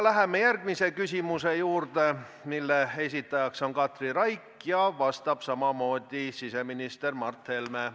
Läheme järgmise küsimuse juurde, mille esitaja on Katri Raik ja vastab jälle siseminister Mart Helme.